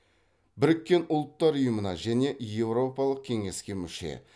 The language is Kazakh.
біріккен ұлттар ұйымына және еуропалық кеңеске мүше